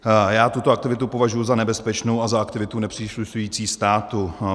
Já tuto aktivitu považuji za nebezpečnou a za aktivitu nepříslušící státu.